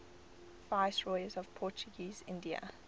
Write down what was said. viceroys of portuguese india